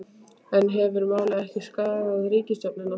En hefur málið ekki skaðað ríkisstjórnina?